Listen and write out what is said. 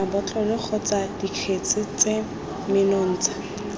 mabotlolo kgotsa dikgetse tse menontsha